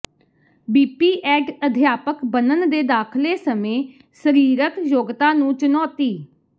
BPEd ਅਧਿਆਪਕ ਬਣਨ ਦੇ ਦਾਖਲੇ ਸਮੇਂ ਸਰੀਰਕ ਯੋਗਤਾ ਨੂੰ ਚੁਣੌਤੀ